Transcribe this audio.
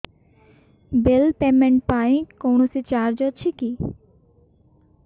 bill payment ପାଇଁ କୌଣସି charge ଅଛି କି